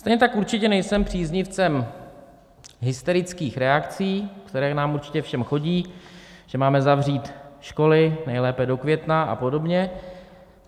Stejně tak určitě nejsem příznivcem hysterických reakcí, které nám určitě všem chodí, že máme zavřít školy, nejlépe do května a podobně.